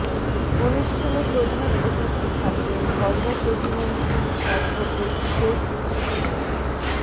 অনুষ্ঠানে প্রধান অতিথি থাকবেন ধর্ম প্রতিমন্ত্রী অ্যাডভোকেট শেখ মো